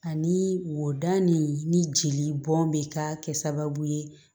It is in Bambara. Ani wodɔ ni jeli bɔn be ka kɛ sababu ye